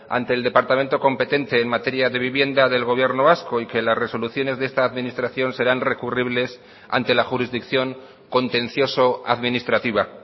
ante el departamento competente en materia de vivienda del gobierno vasco y que las resoluciones de esta administración serán recurribles ante la jurisdicción contencioso administrativa